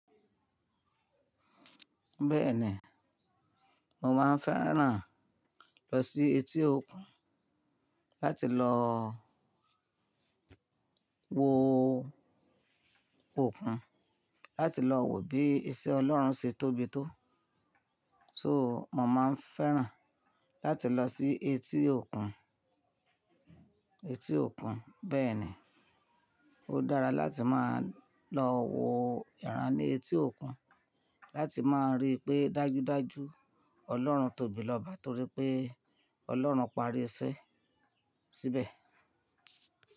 Bẹ́ẹ̀ni, mo máa n fẹ́ràn lọ sí etí òkun láti lọ wo òkun, láti lọ wo bí iṣẹ́ Ọlọ́run ṣe tóbi tó. So mo máa n fẹ́ràn láti lọ sí etí òkun, etí òkun. Bẹ́ẹ̀ni, ó dára láti máa lọ wo ìran ní etí òkun láti máa rí pé dájúdájú Ọlọ́run tóbi lọ́ba torí pé Ọlọ́run parí iṣẹ́ síbẹ̀.